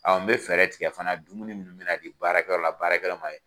n bɛ fɛɛrɛ tigɛ fana dumuni minnu bɛna na di baarakɛyɔrɔ la baarakɛlaw ma